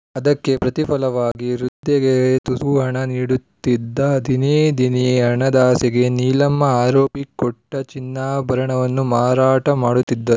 ಅದಕ್ಕೆ ಪ್ರತಿಫಲವಾಗಿ ವೃದ್ಧೆಗೆ ತುಸು ಹಣ ನೀಡುತ್ತಿದ್ದ ದಿನೇ ದಿನೇ ಹಣದಾಸೆಗೆ ನೀಲಮ್ಮ ಆರೋಪಿ ಕೊಟ್ಟಚಿನ್ನಾಭರಣವನ್ನು ಮಾರಾಟ ಮಾಡುತ್ತಿದ್ದ